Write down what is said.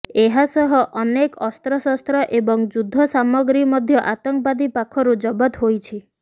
ଏହାସହ ଅନେକ ଅସ୍ତ୍ରଶସ୍ତ୍ର ଏବଂ ଯୁଦ୍ଧ ସାମଗ୍ରୀ ମଧ୍ୟ ଆତଙ୍କବାଦୀ ପାଖରୁ ଜବତ ହୋଇଛି